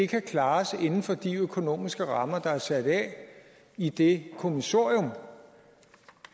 kan klares inden for de økonomiske rammer der er sat af i det kommissorium